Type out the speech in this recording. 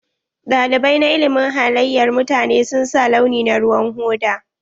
Ɗalibai na ilimin halayar mutane sun sa launi na ruwan hoda.